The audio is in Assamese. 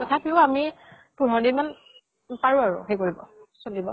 তথাপিও আমি পোন্ধৰ দিন মান পাৰো আৰু হেই কৰিব, চলিব।